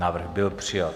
Návrh byl přijat.